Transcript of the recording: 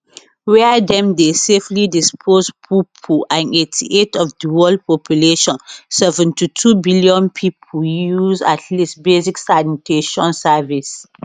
wia dem dey safely dispose poopoo and 88 of di world population 72 billion pipo use at least basic sanitation service